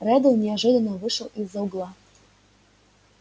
реддл неожиданно вышел из-за угла